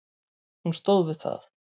Hún stóð við það.